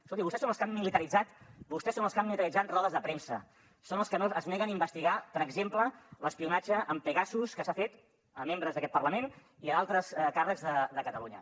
escolti vostès són els que han militaritzat rodes de premsa són els que es neguen a investigar per exemple l’espionatge amb pegasus que s’ha fet a membres d’aquest parlament i a d’altres càrrecs de catalunya